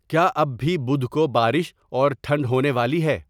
کیا اب بھی بدھ کو بارش اور ٹھنڈ ہونے والی ہے